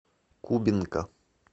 кубинка